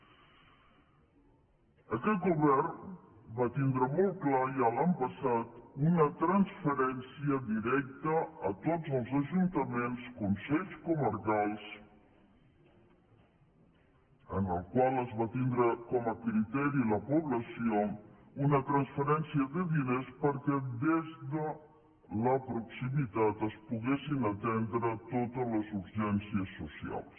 aquest govern va tindre molt clar ja l’any passat una transferència directa a tots els ajuntaments consells comarcals en el qual es va tindre com a criteri la població una transferència de diners perquè des de la proximitat es poguessin atendre totes les urgències socials